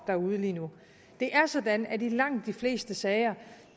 derude lige nu det er sådan at der i langt de fleste sager